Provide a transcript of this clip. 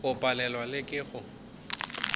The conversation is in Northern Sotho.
o palelwa le ke go